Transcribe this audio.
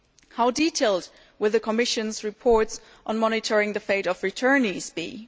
How detailed will the Commission's reports on monitoring the fate of returnees be?